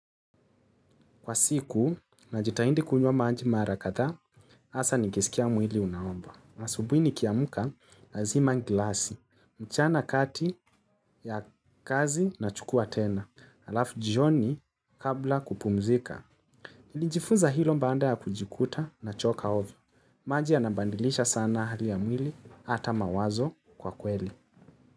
Kwa siku, najitaindi kunywa maji mara kadhaa, hasa nikisikia mwili unaomba. Asubuhi nikiamuka, lazima gilasi, mchana kati ya kazi na chukua tena, alafu jioni kabla kupumzika. Nijifunza hilo baada ya kujikuta nachoka hovyo. Maji yanabandilisha sana hali ya mwili, ata mawazo kwa kweli.